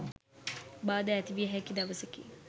බාධා ඇති විය හැකි දවසකි.